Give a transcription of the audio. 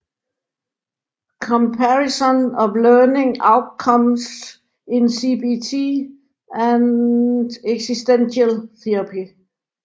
Comparison of Learning Outcomes in CBT and Existential Therapy